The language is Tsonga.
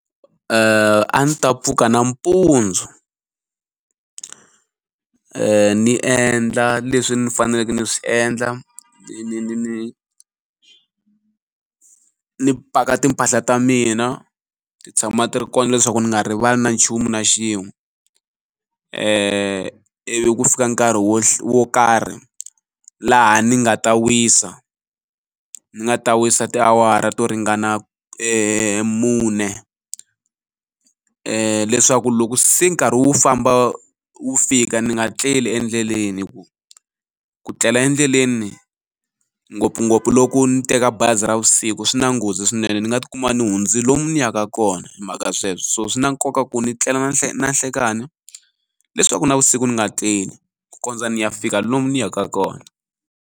A ndzi ta pfuka nampundzu ni endla leswi ni faneleke ni swi endla ni ni ni ni ni paka timpahla ta mina ti tshama ti ri kona leswaku ndzi nga rivali na nchumu na xin'we ivi ku fika nkarhi wo wo karhi laha ni nga ta wisa ni nga ta wisa tiawara to ringana mune leswaku loko se nkarhi wu famba wu fika ni nga tleli endleleni hi ku ku tlela endleleni ngopfungopfu loko ni teka bazi ra vusiku swi na nghozi swinene ndzi nga tikuma ni hundzi lomu ndzi yaka kona hi mhaka ya sweswo so swi na nkoka ku ni tlela nanhlekani leswaku navusiku ni nga tleli ku kondza ni ya fika lomu ndzi yaka kona.